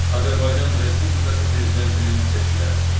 Azərbaycan Respublikası Prezidentinin seçkiləri.